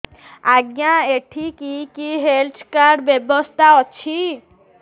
ଆଜ୍ଞା ଏଠି କି କି ହେଲ୍ଥ କାର୍ଡ ବ୍ୟବସ୍ଥା ଅଛି